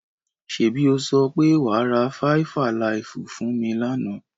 Ṣẹ́bi o sọ pé wa ra Faifalaifú fún mi lánà?